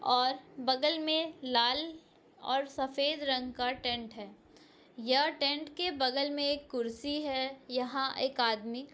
और बगल में लाल और सफेद रंग का टेंट है यह टेंट के बगल में एक कुर्सी है यहाँ एक आदमी--